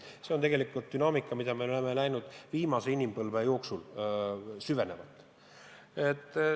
See on dünaamika, mida me oleme näinud just viimase inimpõlve jooksul süvenevat.